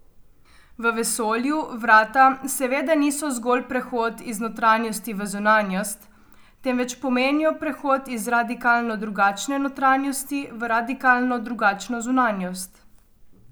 V vesolju vrata seveda niso zgolj prehod iz notranjosti v zunanjost, temveč pomenijo prehod iz radikalno drugačne notranjosti v radikalno drugačno zunanjost.